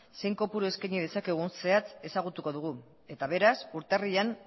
zein kopuru eskaini dezakegun zehatz ezagutuko dugu eta beraz urtarrilean